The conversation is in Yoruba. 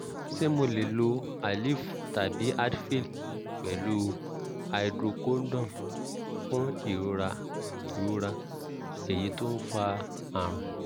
ṣé mo lè lo aleve tàbí advil pẹ̀lú hydrocodone fún ìrora ìrora eyín tó ń fa àrùn?